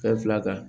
Fɛn fila kan